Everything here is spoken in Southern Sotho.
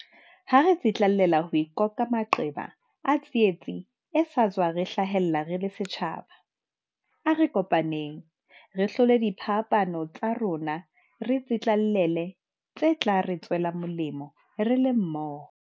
Ha re tsitlallela ho ikoka maqeba a tsietsi e sa tswa re hlahela re le setjhaba, a re kopaneng. Re hlole diphapano tsa rona re tsitlallele tse tla re tswela molemo re le mmoho.